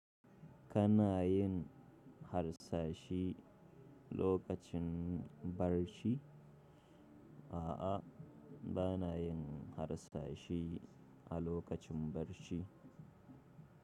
Kana yin harsashe lokacin barci? A'a, ba na yin harsashe a lokacin barci.